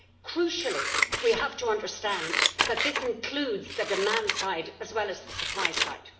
Crucially, we have to understand that this includes the demand side as well as the supply side.